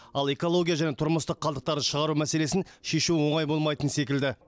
ал экология және тұрмыстық қалдықтарды шығару мәселесін шешу оңай болмайтын секілді